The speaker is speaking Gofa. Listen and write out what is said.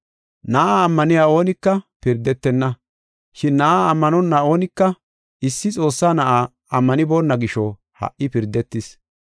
Na7aa ammaniya oonika pirdetenna, shin Na7aa ammanonna oonika issi Xoossaa Na7aa ammanibona gisho ha77i pirdetis.